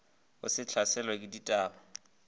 o se hlaselwe ke dibata